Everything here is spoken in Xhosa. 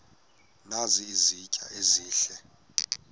nazi izitya ezihle